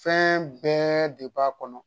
Fɛn bɛɛ de b'a kɔnɔ